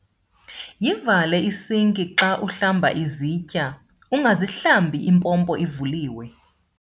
Yivale isinki xa uhlamba izitya, ungazihlambi impompo ivuliwe.